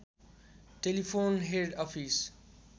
telephone head office